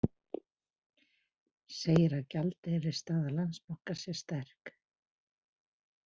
Segir að gjaldeyrisstaða Landsbankans sé sterk